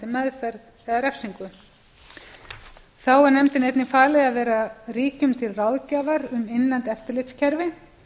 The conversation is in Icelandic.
meðferð eða refsingu þá er nefndinni einnig falið að vera ríkjum til ráðgjafar um innlend eftirlitskerfi